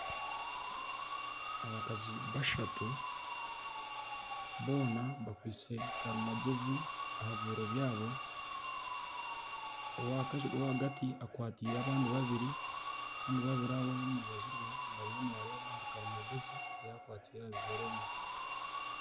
Abakazi bashatu boona bakwaitse karimagyezi aha bibeero byabo owagati akwataire abandi babiri kandi babiri abari aha rubaju rwe bariyo nibareeba ahari karimagyezi ei akwataire aha bibeero bye.